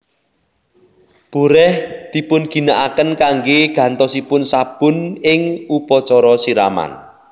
Boreh dipunginakaken kanggè gantosipun sabun ing upacara siraman